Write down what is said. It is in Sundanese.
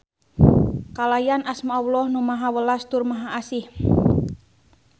Kalayan asma Alloh Nu Maha Welas tur Maha Asih.